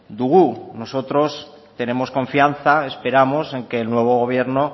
dugu nosotros tenemos confianza esperamos en que el nuevo gobierno